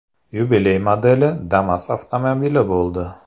Yubiley modeli Damas avtomobili bo‘ldi.